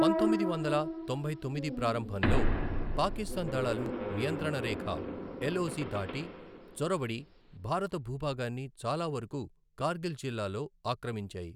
పంతొమ్మిది వందల తొంభై తొమ్మిది ప్రారంభంలో, పాకిస్తాన్ దళాలు నియంత్రణ రేఖ, ఎల్ఒసి దాటి చొరబడి భారత భూభాగాన్నిచాలావరకు కార్గిల్ జిల్లాలో ఆక్రమించాయి.